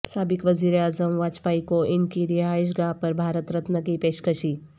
سابق وزیر اعظم واجپائی کو ان کی رہائش گاہ پر بھارت رتن کی پیشکشی